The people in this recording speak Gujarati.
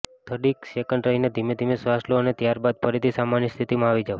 થોડીક સેકન્ડ રહીને ધીમે ધીમે શ્વાસ લો અને ત્યારબાદ ફરીથી સામાન્ય સ્થિતિમાં આવી જાવ